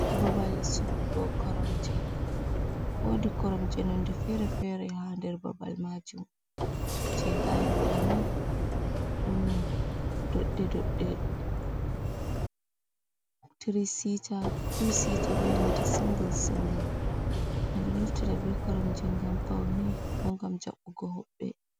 Babal sorrugo koromje, wodi koromje nonde fere fere ha der babal majuum, je ga'en ɗo ni ɗum doɗɗe dodɗe, tiri sita, tuu sita, benanta singul singul ɓeɗo naftira be koromje, gam paune bo gam jaɓɓugo hobɓe.